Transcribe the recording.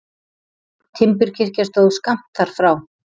Timburkirkja stóð skammt þar frá.